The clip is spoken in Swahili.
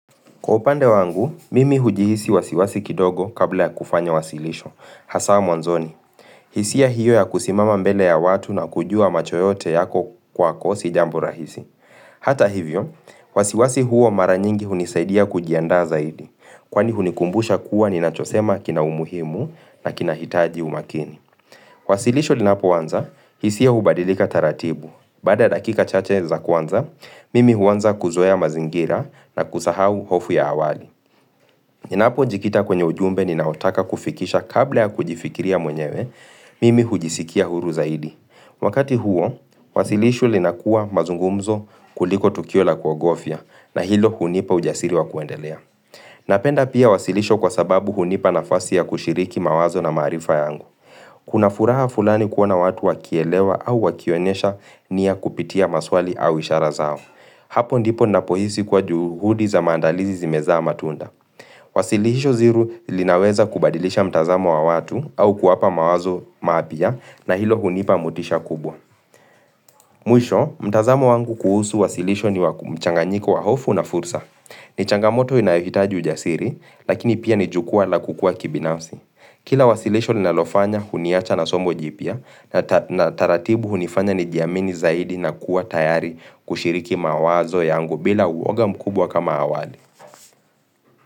Kwa upande wangu, mimi hujihisi wasiwasi kidogo kabla ya kufanya wasilisho, hasa mwanzoni. Hisia hiyo ya kusimama mbele ya watu na kujua macho yote yako kwako si jambo rahisi. Hata hivyo, wasiwasi huo mara nyingi hunisaidia kujianda zaidi, kwani hunikumbusha kuwa ni nachosema kina umuhimu na kina hitaji umakini. Wasilisho linapoanza, hisia hubadilika taratibu. Baada dakika chache za kwanza, mimi huanza kuzoea mazingira na kusahau hofu ya awali. Ninapo jikita kwenye ujumbe ni naotaka kufikisha kabla ya kujifikiria mwenyewe, mimi hujisikia huru zaidi. Wakati huo, wasilisho linakua mazungumzo kuliko tukio la kwa gofya na hilo hunipa ujasiri wa kuendelea. Napenda pia wasilisho kwa sababu hunipa nafasi ya kushiriki mawazo na maarifa yangu. Kuna furaha fulani kuona watu wakielewa au wakionyesha nia kupitia maswali au ishara zao. Hapo ndipo napohisi kuwa juhudi za maandalizi zimezaa matunda. Wasilisho hili linaweza kubadilisha mtazamo wa watu au kuwapa mawazo mapya na hilo hunipa motisha kubwa. Mwisho, mtazamo wangu kuhusu wasilisho ni wakumchanganyiko wa hofu na fursa. Nichangamoto inayohitaji ujasiri, lakini pia ni jukwa la kukua kibinausi. Kila wasilisho ninalofanya, huniacha na somo jipya na taratibu hunifanya nijiamini zaidi na kuwa tayari kushiriki mawazo yangu bila uoga mkubwa kama awali.